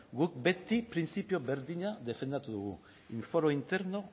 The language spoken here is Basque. guk beti printzipio berdina defendatu dugu in foro interno